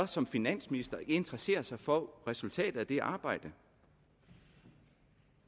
som finansminister ikke interesserer sig for resultatet af det arbejde